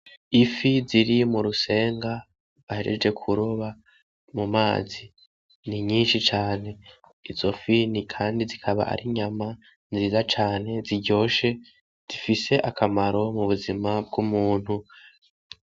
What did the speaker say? Ifi ziri mu rusenga bahejeje kuroba mu mazi, ni nyinshi cane, izo fi kandi zikaba ari inyama nziza cane ziryoshe zifise akamaro mu buzima bw'umuntu.